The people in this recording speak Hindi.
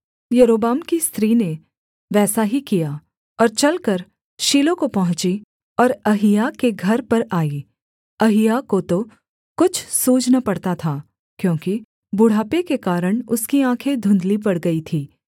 यारोबाम की स्त्री ने वैसा ही किया और चलकर शीलो को पहुँची और अहिय्याह के घर पर आई अहिय्याह को तो कुछ सूझ न पड़ता था क्योंकि बुढ़ापे के कारण उसकी आँखें धुन्धली पड़ गई थीं